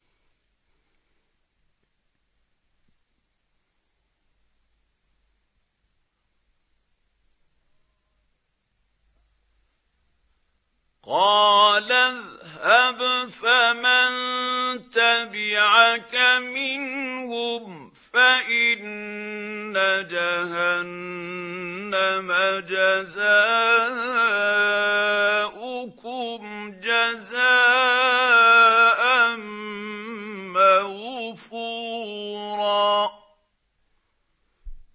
قَالَ اذْهَبْ فَمَن تَبِعَكَ مِنْهُمْ فَإِنَّ جَهَنَّمَ جَزَاؤُكُمْ جَزَاءً مَّوْفُورًا